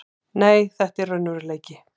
Nei, þetta er raunveruleiki.